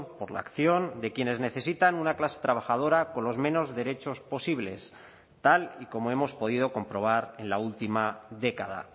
por la acción de quienes necesitan una clase trabajadora con los menos derechos posibles tal y como hemos podido comprobar en la última década